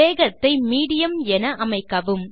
வேகத்தை மீடியம் என் அமைக்கவும்